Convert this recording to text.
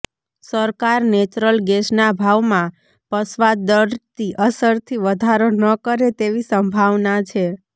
સરકાર નેચરલ ગેસના ભાવમાં પશ્ચાદ્વર્તી અસરથી વધારો ન કરે તેવી સંભાવના છે